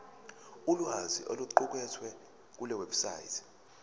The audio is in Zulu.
ulwazi oluqukethwe kulewebsite